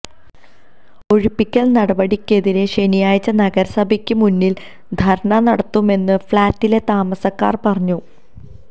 ഒഴിപ്പിക്കല് നടപടിക്കെതിരെ ശനിയാഴ്ച നഗരസഭക്ക് മുന്നില് ധര്ണ നടത്തുമെന്നും ഫ്ലാറ്റിലെ താമസക്കാര് പറഞ്ഞു